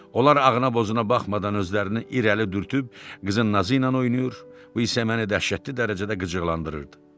Onlar ağına-bozuna baxmadan özlərini irəli dürtüb qızın nazı ilə oynayır, bu isə məni dəhşətli dərəcədə qıcıqlandırırdı.